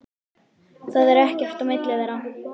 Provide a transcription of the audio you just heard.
Það er ekkert á milli þeirra.